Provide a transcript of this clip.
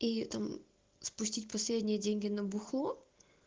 и там спустить последние деньги на бухло